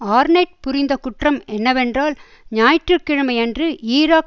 ஆர்நெட் புரிந்த குற்றம் என்னவென்றால் ஞாயிற்று கிழமையன்று ஈராக்